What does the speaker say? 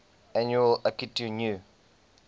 annual akitu new